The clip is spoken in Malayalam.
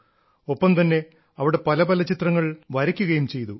ഒപ്പം തന്നെ അവിടെ പല പല ചിത്രങ്ങൾ വരയ്ക്കുകയും ചെയ്തു